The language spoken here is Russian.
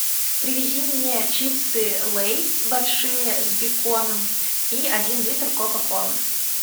привези мне чипсы лейс большие с беконом и один литр кока колы